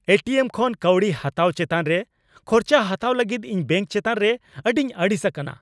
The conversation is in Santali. ᱮ ᱴᱤ ᱮᱢ ᱠᱷᱚᱱ ᱠᱟᱹᱣᱰᱤ ᱦᱟᱛᱟᱣ ᱪᱮᱛᱟᱱ ᱨᱮ ᱠᱷᱚᱨᱪᱟ ᱦᱟᱛᱟᱣ ᱞᱟᱹᱜᱤᱫ ᱤᱧ ᱵᱮᱝᱠ ᱪᱮᱛᱟᱱ ᱨᱮ ᱟᱹᱰᱤᱧ ᱟᱹᱲᱤᱥ ᱟᱠᱟᱱᱟ ᱾